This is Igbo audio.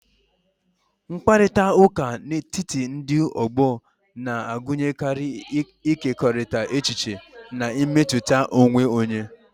Mkparịta ụka n'etiti ndị ọgbọ na-agụnyekarị ịkekọrịta echiche na mmetụta onwe onye.